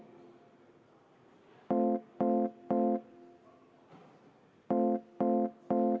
Aitäh!